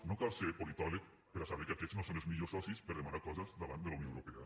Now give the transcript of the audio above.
no cal ser politòleg per a saber que aquests no són els millors socis per a demanar coses davant de la unió europea